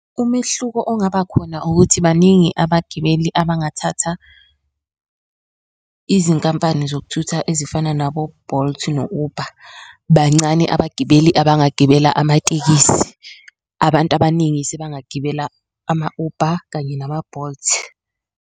Umehluko ongaba khona ukuthi baningi abagibeli abangathatha izinkampani zokuthutha ezifana nabo-Bolt no-Uber, bancane abagibeli abangagibela amatekisi abantu abaningi sebangagibela ama-Uber kanye nama-Bolt.